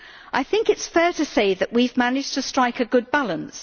I think it is fair to say that we have managed to strike a good balance.